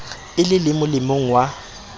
e le le molemong wa